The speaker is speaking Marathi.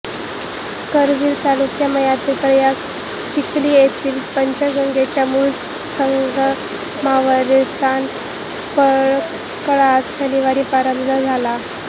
करवीर तालुक्मयातील प्रयाग चिखली येथील पंचगंगेच्या मूळ संगमावरील स्नान पर्वकाळास शनिवारी प्रारंभ झाला